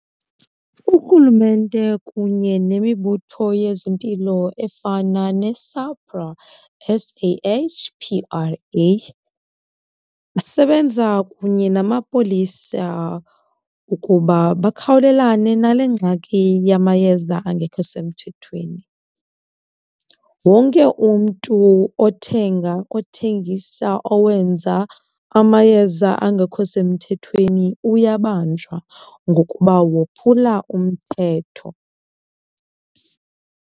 Urhulumente kunye nemibutho yezempilo efana neSAHPRA, S_A_H_P_R_A, isebenza kunye namapolisa ukuba bakhawulelane nale ngxaki yamayeza angekho semthethweni. Wonke umntu othenga, othengisa, owenza amayeza angekho semthethweni uyabanjwa ngokuba wophumla umthetho.